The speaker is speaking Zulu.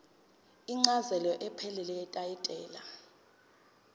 incazelo ephelele yetayitela